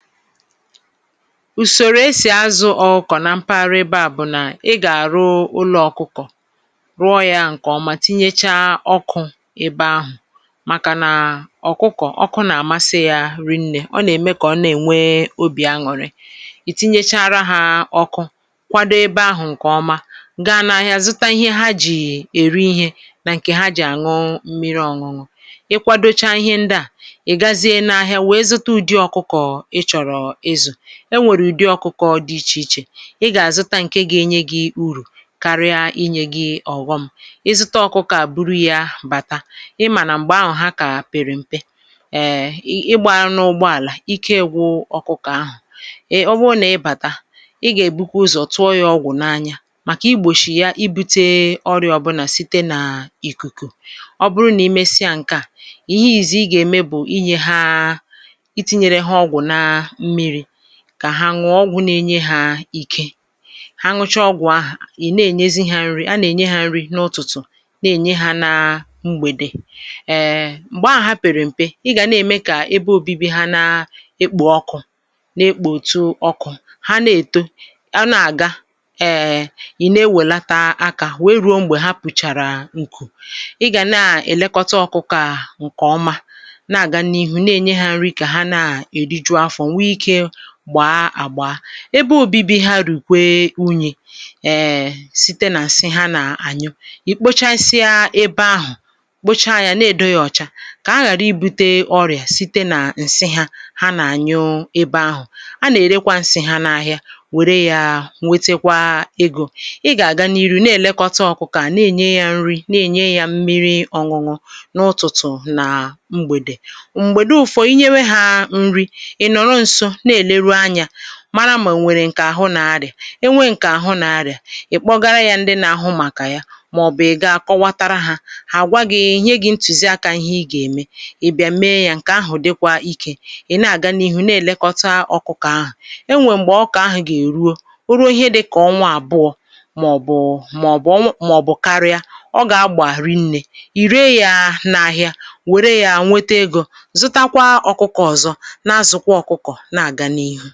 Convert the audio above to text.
Usòrò esì azù ọ̀kụkọ̀ na mpaghara ebe a bụ̀ nà; ị gà-àrụ ụlọ̀ ọkụkọ̀, rụọ yȧ ǹkèọma tinyecha ọkụ̇ ebe ahụ̀. Màkà nà ọkụkọ̀ ọkụ nà-àmasị ya ri̇ nnė, ọ nà-eme kà ọ na-ènwe obì añụ̀rị. Ị tinyechara hȧ ọkụ kwado ebe ahụ̀ ǹkè ọma, ga n’ahịa zụta ihe ha jì èri ihe nà ǹkè ha jì àṅụ mmiri ọ̀ṅụ̀ṅụ̀. Ị kwadocha ihe ndị à, ị gaziè na ahịa wèe zụta ụdị ọkụkọ I chọrọ ịzụ. E nwèrè ụ̀dị ọkụkọ dị ichè ichè, ị gà-àzụta ǹke ga-enye gị̇ urù karịa inyė gị ọ̀ghọm. Ị zụta ọkụkọ à buru yȧ bàta, ị mà nà m̀gbè ahụ̀ ha kà pèrè mpė;[um] ịgbȧ n’ụgbọ àlà ike ịgwụ̇ ọkụkọ ahụ̀. Ị ọ bụrụ nà ị bàta, ị gà-èbukwa ụzọ̀ tụọ yȧ ọgwụ̀ n’anya màkà igbòshì ya ibu̇tė ọrịa ọbụ̀nà site n’ìkùkù. Ọ bụrụ nà imesịa ǹke à, ihe ìzi ị gà-ème bụ̀ inyė ha itinyere ha ọgwụ ná mmiri, kà ha ṅuọ ọgwụ̇ na-enye hȧ ike. Ha nụcha ọgwụ̀ ahà, ị̀ na-ènyezi ha nri̇, a nà-ènye ha nri n’ụ̀tụtụ̀, n’ènye ha na mgbèdè. um m̀gbè ahà ha pèrè m̀pe, ị gà na-ème kà ebe ȯbi̇bi̇ ha na-ekpò ọkụ̇ na-ekpòtu ọkụ̇, ha na-èto, a na-àga, um ị̀ na-ewèlata akȧ wèe rùo m̀gbè ha pùchàrà ǹkù. Ị gà na-èlekọta ọkụkọ à ǹkè ọma na-àga n’ihu, na-ènye ha nri kà ha na-èriju afọ̀, nwe ike gbá àgbà. Ebe ȯbi̇bi̇ ha rùkwe unyị̇, um site nà ǹsị ha nà ànyụ, ì kpochasịa ebe ahụ̀ kpocha yȧ na-èdo yȧ ọ̀cha. Kà ha ghàra ibu̇tė ọrị̀à site nà ǹsị ha ha nà ànyụ ebe ahụ̀. A nà èrekwa ǹsị ha n’ahịà, wère yȧ nwetekwa egȯ. Ị gà àga n’iru na-èlekọta ọ̀kụkụ a, na enye ya nri, na enye ya mmiri ọṅụṅụ n’ụtụ̀tụ̀ na mgbèdè. Mgbèdu ụ̀fọ̀ inye nwe ha nri, ị nọrọ nso n'eleru anya, mara mà o nwèrè ǹkè àhụ nà arị̀à. E nwe ǹkè àhụ nà arị̀à, ì kpọgara yȧ ndị nà ahụ màkà ya, màọ̀bụ̀ ị̀ ga kọwatara hȧ. Hà àgwa gị̇, nye gị̇ ntùzi akȧ ihe ị gà-ème. Ị bịa mee yȧ; ǹkè ahụ̀ dịkwa ikė, ị̀ na-àga n’ihu na-èlekọta ọkụkọ̀ ahụ̀. Enwè m̀gbè ọ̀kụ̀kọ ahụ̀ gà-èruo, o ruo ihe dịkà ọnwa àbụọ màọ̀bụ̀ màọ̀bụ̀ maọ̀bụ̀ karịa ọ gà-agbà rị nnė. Ị́ ree yȧ n’ahịa wère yȧ nwete egȯ, zutakwa ọkụkọ̀ na azù kwa ọkụkọ na aga n'ihu.